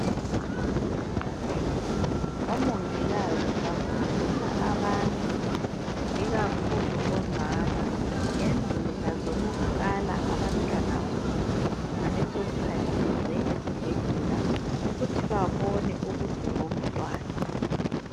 Omongikazi bafundisa abantu, ikakhulu omama ngendlela zokukala abantwana babo, ngeleso sikhathi beze esibhedlela ukuthi babone ubude bomtwana.